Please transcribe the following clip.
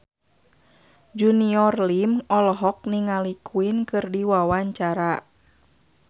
Junior Liem olohok ningali Queen keur diwawancara